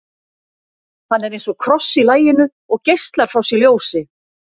hann er eins og kross í laginu og geislar frá sér ljósi